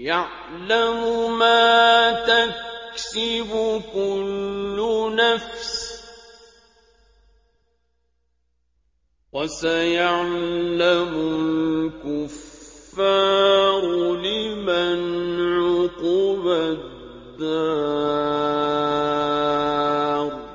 يَعْلَمُ مَا تَكْسِبُ كُلُّ نَفْسٍ ۗ وَسَيَعْلَمُ الْكُفَّارُ لِمَنْ عُقْبَى الدَّارِ